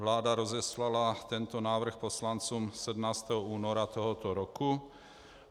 Vláda rozeslala tento návrh poslancům 17. února tohoto roku.